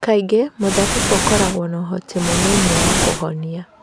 Kaingĩ mũthabibũ ũkoragwo na ũhoti mũnini wa kũhonia